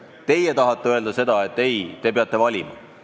Teie tahate neile öelda, et nad peavad valima.